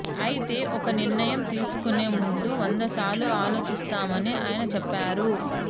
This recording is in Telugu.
అయితే ఒక నిర్ణయం తీసుకునే ముందు వందసార్లు ఆలోచిస్తామని ఆయన చెప్పారు